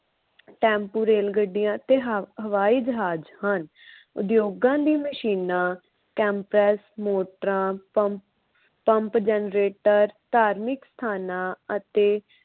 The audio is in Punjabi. ਟੈਂਪੂ, ਰੇਲ ਗੱਡੀਆਂ ਤੇ ਹਵਾਈ ਜਹਾਜ ਹਨ । ਉਦਯੋਗਾਂ ਦੀ ਮਸ਼ੀਨਾਂ temptress ਮੋਟਰਾਂ, ਪੰਪ ਪੰਪ ਜਨਰੇਟਰ ਧਾਰਮਿਕ ਸਥਾਨਾਂ ਅਤੇ